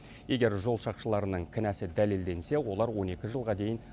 егер жол сақшыларының кінәсі дәлелденсе олар он екі жылға дейін